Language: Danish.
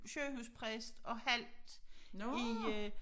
Sygehuspræst og halvt i øh